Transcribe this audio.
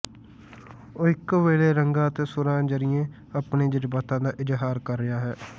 ਉਹ ਇੱਕੋ ਵੇਲੇ ਰੰਗਾਂ ਅਤੇ ਸੁਰਾਂ ਜ਼ਰੀਏ ਆਪਣੇ ਜਜ਼ਬਾਤਾਂ ਦਾ ਇਜ਼ਹਾਰ ਕਰ ਰਿਹਾ ਹੈ